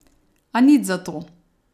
A nič zato.